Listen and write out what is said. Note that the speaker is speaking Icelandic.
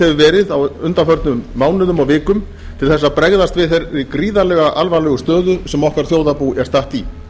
hefur verið á undanförnum mánuðum og vikum til að bregðast við þeirri gríðarlega alvarlegu stöðu sem okkar þjóðarbú er statt í